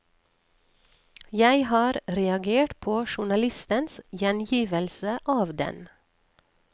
Jeg har reagert på journalistens gjengivelse av den.